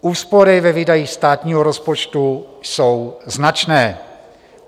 Úspory ve výdajích státního rozpočtu jsou značné.